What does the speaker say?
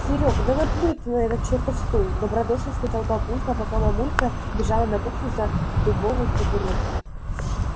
серёг да наплюй ты на этот чертов стул добродушно сказал папулька пока мамулька бежала на кухню за дубовой табуреткой